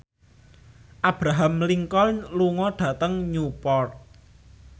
Abraham Lincoln lunga dhateng Newport